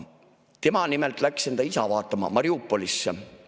Tema nimelt läks enda isa vaatama Mariupolisse.